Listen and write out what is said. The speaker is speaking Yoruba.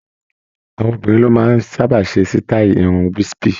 Àwọn obìnrin ló máa ń sábà ṣe sítáì irun Wispy